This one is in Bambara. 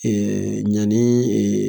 Eee ɲani ee